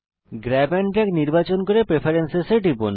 grab and drag নির্বাচন করুন এবং প্রেফারেন্স এ টিপুন